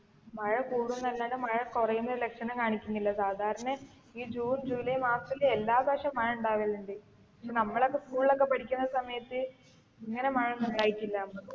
മഴ കുടുന്നല്ലാണ്ട് മഴ കുറയുന്ന ലക്ഷണം കാണിക്കുന്നില്ല സാധാരണ ഈ ജൂൺ ജൂലൈ മാസത്തിൽ എല്ലാവർഷവും മഴ ഉണ്ടാവാലുണ്ട്. നമ്മൊലൊക്കെ school ല് പഠിക്കുന്ന സമയത്ത് ഇങ്ങനെ മഴയൊന്നും ഉണ്ടായിട്ടില്ല.